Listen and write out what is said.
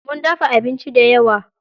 Mun dafa abinci dayawa.